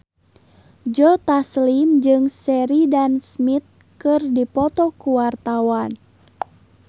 Joe Taslim jeung Sheridan Smith keur dipoto ku wartawan